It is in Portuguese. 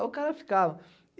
Aí o cara ficava.